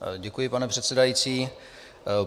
Děkuji, pane předsedající.